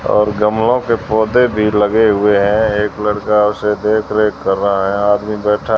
और गमलों के पौधे भी लगे हुए हैं एक लड़का उसे देखकर रेख कर रहा है आदमी बैठा--